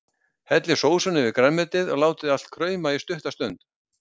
Hellið sósunni yfir grænmetið og látið allt krauma í stutta stund.